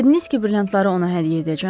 Dediniz ki, brilyantları ona hədiyyə edəcəm?